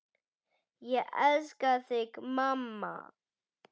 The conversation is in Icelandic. Ég elska þig mamma.